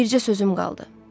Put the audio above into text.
Bircə sözüm qaldı.